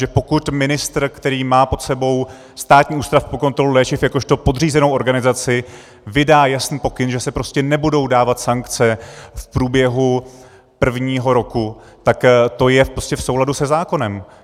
Že pokud ministr, který má pod sebou Státní ústav pro kontrolu léčiv jakožto podřízenou organizaci, vydá jasný pokyn, že se prostě nebudou dávat sankce v průběhu prvního roku, tak to je v souladu se zákonem.